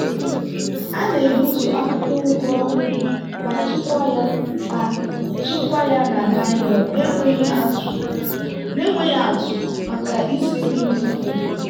a na-egbutu akwụkwọ ugu ọhụrụ ma chekwaa ya ma chekwaa ya na nylon na-enweghị atụ maka isi nri dị mfe.